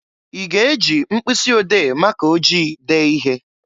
I ga-e ji mpkụsị ode maka ojii dee ihe?